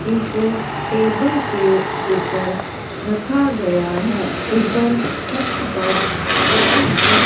इनको टेबल के ऊपर रखा गया है ऊपर छत पर लाइट्स --